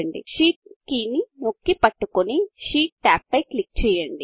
Shift key నొక్కి పట్టుకొని sheet tab పై క్లిక్ చేయండి